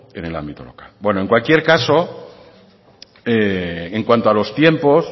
en el ámbito local en cualquier caso en cuanto a los tiempos